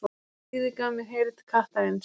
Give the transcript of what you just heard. Stríðið gaf mér heyrn kattarins.